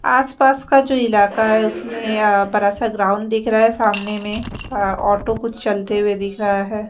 आसपास का जो इलाका है उसमे अह बड़ा सा ग्राउंड दिख रहा है सामने मे अ ऑटो कुछ चलते हुए दिख रहा है।